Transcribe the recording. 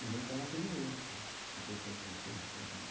Ele é um cara perigoso, né? Escritor do século dezesseis, poeta místico.